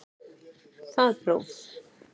Það próf